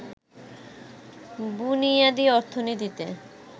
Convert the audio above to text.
বুনিয়াদী অর্থনীতিতে